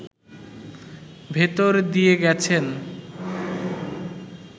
ভেতর দিয়ে গেছেন